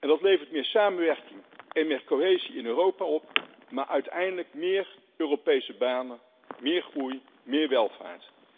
Dat levert meer samenwerking en meer cohesie in Europa op, maar uiteindelijk ook meer Europese banen, meer groei, meer welvaart.